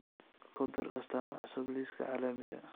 ku dar astaamo cusub liiska alaarmiga